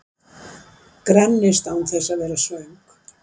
Grennist án þess að vera svöng